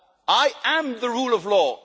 like. I am the rule of